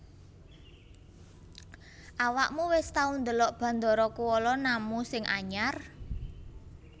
Awakmu wis tau ndelok Bandara Kuala Namu sing anyar?